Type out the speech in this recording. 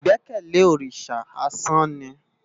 Igbèkèlé órisá ásàn ni